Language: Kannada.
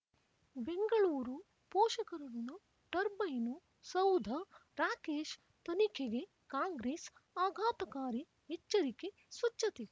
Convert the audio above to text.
ಬೆಂಗಳೂರು ಪೋಷಕ ಋಣ ಟರ್ಬೈನು ಸೌಧ ರಾಕೇಶ್ ತನಿಖೆಗೆ ಕಾಂಗ್ರೆಸ್ ಆಘಾತಕಾರಿ ಎಚ್ಚರಿಕೆ ಸ್ವಚ್ಛತೆ